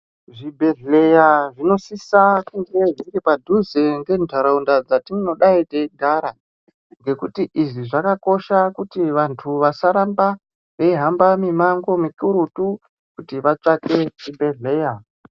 Zvi bhedhleya zvinosisa kunge zviri padhuze nge ndaraunda dzatinodai teyi gara ngekuti izvi zvakakosha kuti vantu vasaramba veihamba mi mango mikurutu kuti vatsvake chi bhedhleya.